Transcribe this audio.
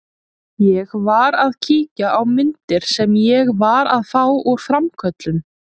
Ég var að kíkja á myndir sem ég var að fá úr framköllun.